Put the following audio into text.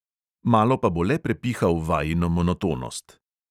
Malo pa bo le prepihal vajino monotonost.